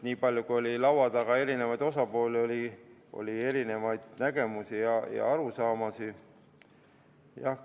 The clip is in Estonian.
Nii palju kui oli laua taga eri osapooli, oli eri nägemusi ja arusaamasid.